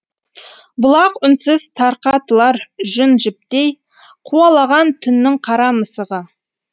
бұлақ үнсіз тарқатылар жүн жіптейқуалаған түннің қара мысығы